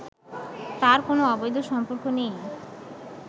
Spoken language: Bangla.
তার কোনো অবৈধ সম্পর্ক নেই